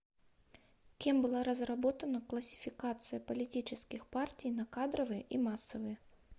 кем была разработана классификация политических партий на кадровые и массовые